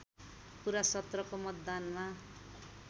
पुरा सत्रको मतदानमा